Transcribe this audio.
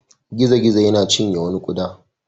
Gizo-gizo ya cinye wani ƙuda.